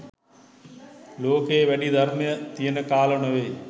ලෝකයේ වැඩි ධර්මය තියෙන කාල නෙවෙයි